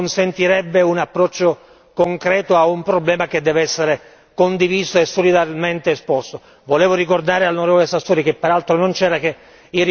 Per esempio, in Italia, a causa di una legislazione che non consentirebbe un approccio concreto a un problema che deve essere condiviso e solidarmente affrontato.